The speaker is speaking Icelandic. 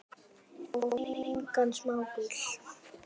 Og það engan smábíl.